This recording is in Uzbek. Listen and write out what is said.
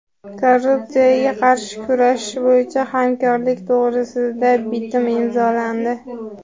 Korrupsiyaga qarshi kurashish bo‘yicha hamkorlik to‘g‘risida bitim imzolandi;.